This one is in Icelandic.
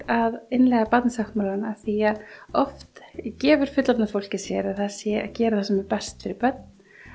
að innleiða Barnasáttmálann af því að oft gefur fullorðna fólkið sér að það sé að gera það sem er best fyrir börn